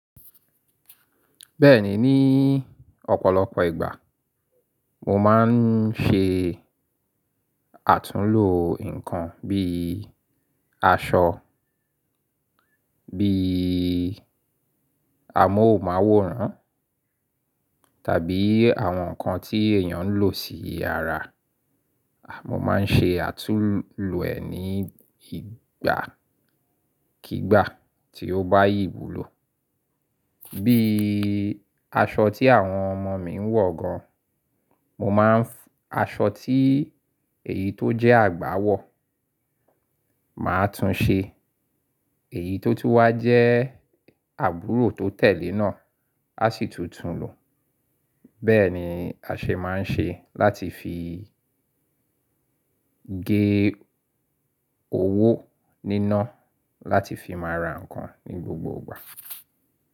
Bẹ́ẹ̀ni, ní ọ̀pọ̀lọpọ̀ ìgbà mo máa ń ṣe àtúnlo nǹkan bíi aṣọ, bíi amóhùnmáwòrán tàbí àwọn nǹkan tí èèyàn ń lò sí ara. Mo máa ń ṣe àtúnlo ẹ̀ ní ìgbàkígbà tí ó bá yí wù ló. Bíi aṣọ tí àwọn ọmọ mi ń wọ̀ gan, mo máa ń f-- aṣọ tí èyí tó jẹ́ àgbà wọ̀, màá tún ṣe. Èyí tó tú wá jẹ́ àbúrò tó tẹ̀lé náà, a sì tún tún lo. Bẹ́ẹ̀ ni a ṣe máa ń ṣe láti fi gé owó níná láti fi máa ra nǹkan ní gbogbo ìgbà.